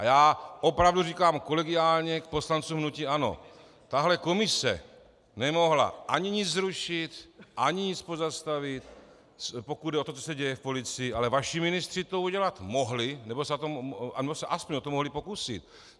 A já opravdu říkám kolegiálně k poslancům hnutí ANO, tahle komise nemohla ani nic zrušit, ani nic pozastavit, pokud jde o to, co se děje v policii, ale vaši ministři to udělat mohli, nebo se aspoň o to mohli pokusit.